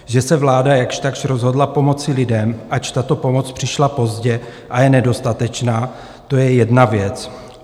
Že se vláda jakž takž rozhodla pomoci lidem, ač tato pomoc přišla pozdě a je nedostatečná, to je jedna věc.